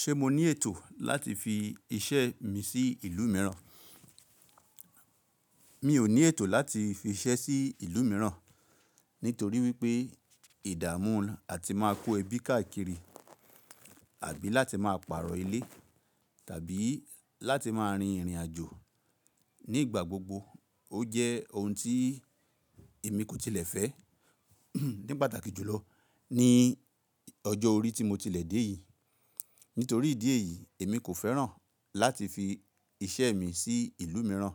Ṣé mo ní ètò láti fi iṣẹ́ mi sí ìlú mìíràn? Mi ò ní ètò láti fi iṣẹ́ sí ìlú mìíràn nítorí wípé ìdààmú àti máa kó ebí káàkiri àbí láti máa pààrọ̀ ilé tàbí láti máa rin ìrìn àjò ní ìgbà gbogbo. Ó jẹ́ ohun tí èmi kò tilẹ̀ fẹ́ ní pàtàkì jùlọ ní ọjọ́ orí tí mo tilẹ̀ dé yìí. Nítorí ìdí èyí èmi kò fẹ́ràn láti fi iṣẹ́ mi sí ìlú mìíràn.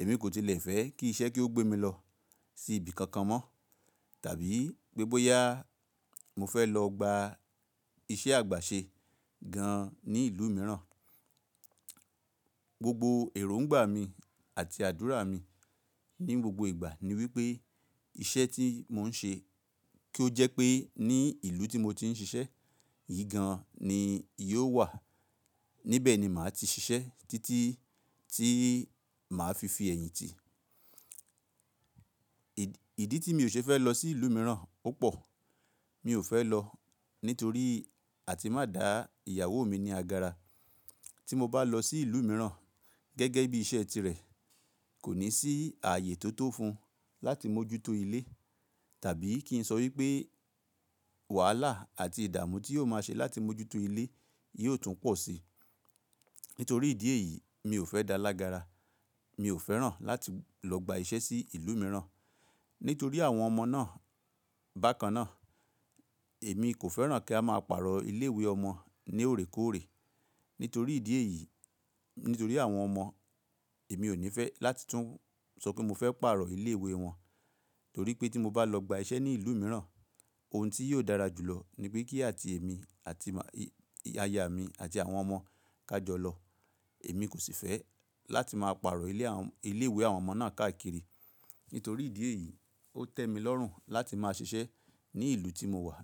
Èmi kò tilẹ̀ fẹ́ kí iṣẹ́ kí ó gbé mi lọ sí ibi kankan mọ́ tàbí pé bóyá mo fẹ́ lọ gba iṣẹ́ àgbà ṣe gan an ní ìlú mìíràn. Gbogbo èròǹgbà mi àti àdúrà mi ní gbogbo ìgbà ni wípé iṣẹ́ tí mò ń ṣe kí ó jẹ́ pé ní ìlú tí mo ti ń ṣiṣẹ́ yìí gan an ni yóò wà níbẹ̀ ni màá ti ṣiṣẹ́ títí tí màá fi fi ẹ̀yìn tì. Ìdí tí mi ò ṣe fẹ́ lọ sí ìlú mìíràn ó pọ̀. Mi ò fẹ́ lọ nítorí àti má dà ìyàwó mi ní agara. Tí mo bá lọ sí ìlú mìíràn gẹ́gẹ́ bí iṣẹ́ tirẹ̀ kò ní sí ààyè tó tó fún un láti mójútó ilé tàbí kí n sọ wípé wàhálà àti ìdààmú tí yóò máa ṣe láti mójútó ilé yóò tún pọ̀ si. Nítorí ìdí èyí mi ò fẹ́ dalágara. Mi ò fẹ́ràn láti lọ gba iṣẹ́ sí ìlú mìíràn. Nítorí àwọn ọmọ náà bákan náà èmi kò fẹ́ràn kí a máa pààrọ̀ ilé ìwé ọmọ ní òrékóòré. Nítorí ìdí èyí nítorí àwọn ọmọ èmi ò ní fẹ́ láti tún sọ pé mo fẹ́ pààrọ̀ ilé ìwé wọn. Torí pé tí mo bá lọ gba iṣẹ́ ní ìlú mìíràn ohun tí yóò dára jùlọ ni wípé kí àti èmi àti aya mi àti àwọn ọmọ ká jọ lọ. Èmi kò sì fẹ́ láti máa pààrọ̀ ilé a ile iwe àwọn ọmọ náà káàkiri. Nítorí ìdí èyí ó tẹ́ mi lọ́rùn láti máa ṣiṣẹ́ ní ìlú tí mo wà.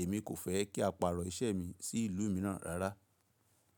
Èmi kò fẹ́ kí a pààrọ̀ iṣẹ́ mi sí ìlú mìíràn rárá.